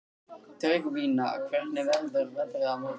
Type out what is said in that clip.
Tryggvína, hvernig verður veðrið á morgun?